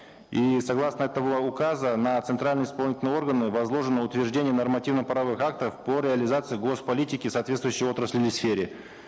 и согласно этого указа на центральные исполнительные органы возложено утверждение нормативно правовых актов по реализации гос политики в соответствующей отрасли или сфере